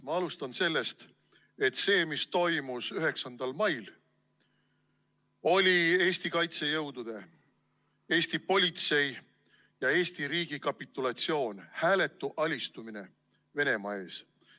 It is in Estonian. Ma alustan sellest, et see, mis toimus 9. mail, oli Eesti kaitsejõudude, Eesti politsei ja Eesti riigi kapitulatsioon, hääletu alistumine Venemaa ees.